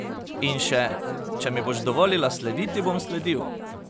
In še: "Če mi boš dovolila slediti, bom sledil.